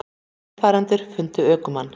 Vegfarendur fundu ökumann